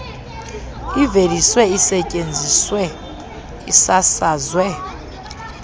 iveliswe isetyenziswe isasazwe